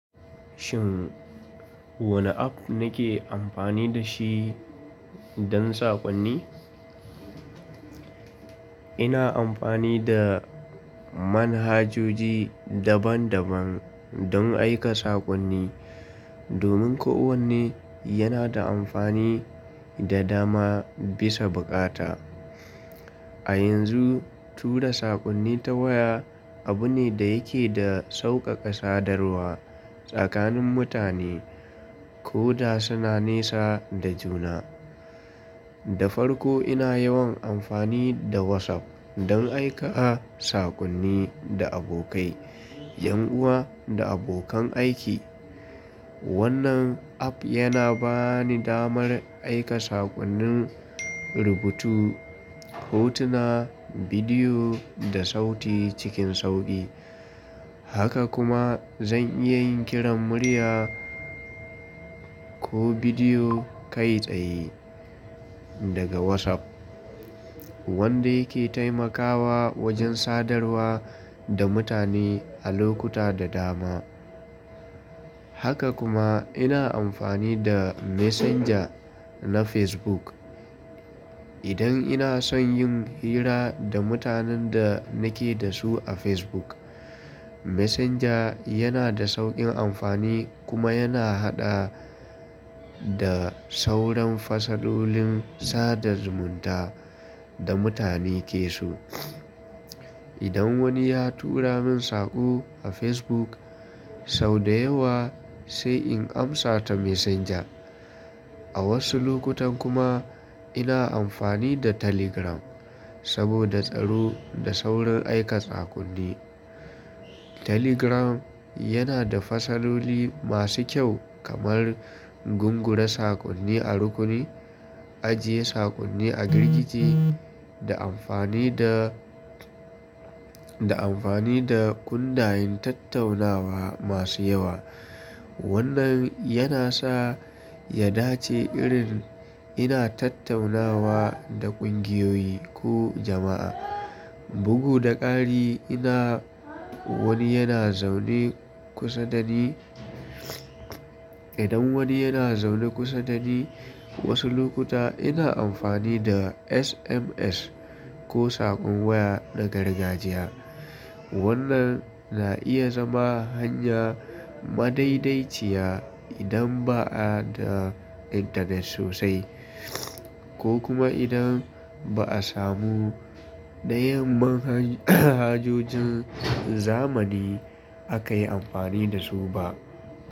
Shin wane app nake amfani da shi don sakonni? Ina amfani da manhajoji daban-daban don aika sakonni, domin kowanne yana da amfani da dama bisa bukata. A yanzu, tura sakonni ta waya abu ne da yake da sauƙaƙa sadarwa tsakanin mutane, koda suna nesa da juna. Da farko ina yawan amfani da WhatsApp don aika sakonni da abokai, ’yan uwa da abokan aiki. Wannan app yana bani damar aika sakonnin rubutu, hotuna, bidiyo da sauti cikin sauƙi. Haka kuma zan iya yin kiran murya ko bidiyo kai tsaye daga WhatsApp, wanda yake taimakawa wajen sadarwa da mutane a lokuta da dama. Haka kuma ina amfani da Messenger na Facebook idan ina son yin hira da mutanen da nake da su a Facebook. Messenger yana da sauƙin amfani kuma yana haɗa da sauran fasalolin sada zumunta da mutane ke so. Idan wani ya tura min sako a Facebook, sau da yawa sai in amsa ta Messenger. A wasu lokutan kuma ina amfani da Telegram saboda tsaro da saurin aika sakonni. Telegram yana da fasaloli masu kyau kamar gungure sakonni a rukuni, ajiye sakonni a girgije, da amfani da, da amfani da kundayin tattaunawa masu yawa. Wannan yana sa ya dace irin ina tattaunawa da ƙungiyoyi ko jama'a. Bugu da ƙari ina wani yana zaune kusa da ni, idan wani yana zaune kusa da ni, wasu lokuta ina amfani da SMS ko sakon waya na gargajiya. Wannan na iya zama hanya madaidaiciya idan ba a da intanet sosai ko kuma idan ba a samu ɗayan manhajojin zamani aka yi amfani da su ba.